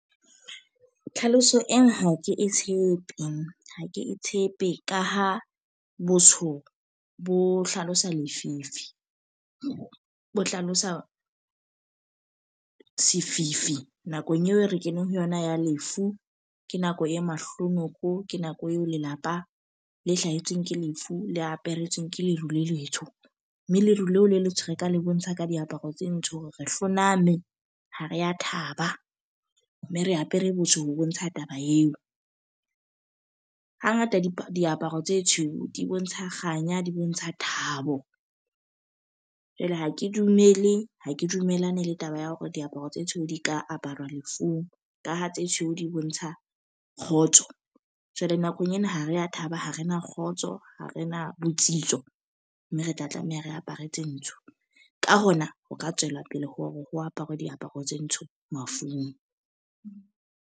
Tlhaloso eng ha ke e tshepe. Ha ke tshepe ka ho botsho bo hlalosa lefifi, ho hlalosa sefifi nakong eo re keneng ho yona ya lefu. Ke nako e mahlonoko, ke nako eo lelapa le hlahetsweng ke lefu le aperetswe ke leruo le letsho. Mme leruo leo le letsho re ka le bontsha ka diaparo tse ntsho hore re hloname ha re ya thaba. Mme re apere botjho ho bontsha taba eo. Ha ngata di diaparo tse tshweu, di bontsha kganya, di bontsha thabo. Jwale ha ke dumele ha ke dumellane le taba ya hore diaparo tse tshweu di ka aparwa lefung. Ka ha tse tshweu di bontsha kgotso. Jwale nakong ena ha re ya thaba ha re na kgotso, ha re na botsitso. Mme re tla tlameha re apare tse ntsho. Ka hona ho ka tswela pele ho re ho apara diaparo tse ntsho mafung.